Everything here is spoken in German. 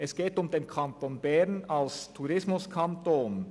Es geht um den Kanton Bern als Tourismuskanton.